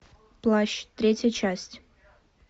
плащ третья часть